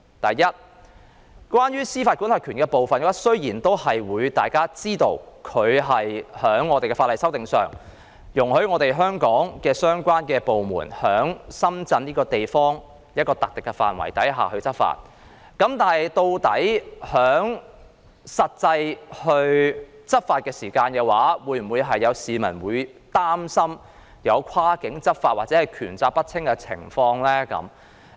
第一，關於司法管轄權的部分，雖然大家皆知道，法例須予修訂，以容許港方相關部門在深圳一個特定範圍內執法，但有市民擔心在實際執法時究竟會否出現跨境執法或權責不清的情況。